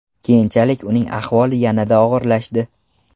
Keyinchalik uning ahvoli yanada og‘irlashdi.